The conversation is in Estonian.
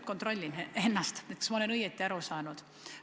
Ma kontrollin ennast, kas ma olen õigesti aru saanud.